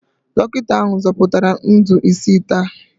Dọkịta ahụ zọpụtara ndụ isii taa